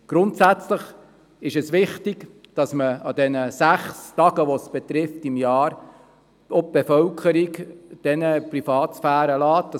Es ist wichtig, der Bevölkerung an den sechs Tagen pro Jahr, die es betrifft, ihre Privatsphäre zu lassen.